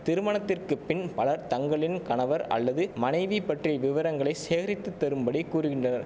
திருமணத்திற்குப் பின் பலர் தங்களின் கணவர் அல்லது மனைவி பற்றிய விவரங்களை சேகரித்து தரும்படி கூறுகின்றனர்